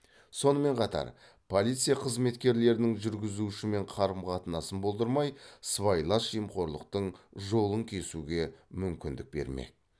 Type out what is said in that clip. сонымен қатар полиция қызметкерінің жүргізушімен қарым қатынасын болдырмай сыбайлас жемқорлықтың жолын кесуге мүмкіндік бермек